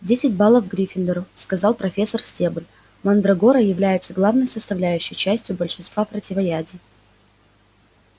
десять баллов гриффиндору сказал профессор стебль мандрагора является главной составляющей частью большинства противоядий